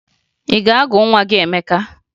Ị ga-agụ nwa gị Emeka?